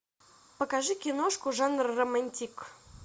покажи киношку жанр романтик